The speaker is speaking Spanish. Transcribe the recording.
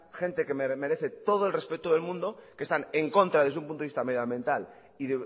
gente que me merece todo el respeto del mundo que están en contra desde punto de vista medioambiental y